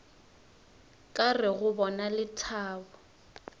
ka re go bona lethabo